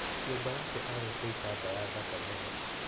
Nyũmba yake arĩte itambaya thaka mũno